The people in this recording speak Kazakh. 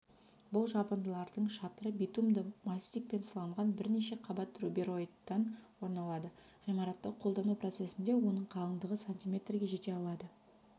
бұл жабындылардың шатыры битумды мастикпен сыланған бірнеше қабат рубероидтан орындалады ғимаратты қолдану процесінде оның қалыңдығы сантиметрге жете алады